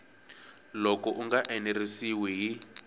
loko u nga enerisiwi hi